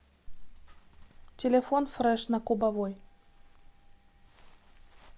телефон фреш на кубовой